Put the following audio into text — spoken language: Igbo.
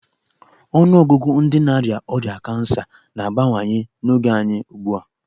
Ọnụọgụgụ ndị na-arịa ọrịa kansa na-abawanye n'oge anyị ugbu a.